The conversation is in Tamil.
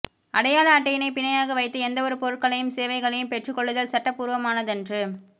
அடையாள அட்டையினைப் பிணையாக வைத்து எந்தவொரு பொருட்களையும் சேவைகளையும் பெற்றுக் கொள்ளுதல் சட்ட பூர்வமானதன்று